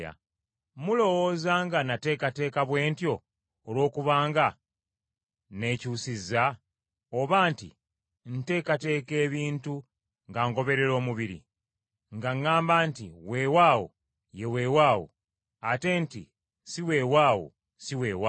Mulowooza nga nateekateeka bwe ntyo olwokubanga nnekyusiza? Oba nti ntekateeka ebintu nga ngoberera omubiri, nga ŋŋamba nti weewaawo ye weewaawo, ate nti si weewaawo, si weewaawo?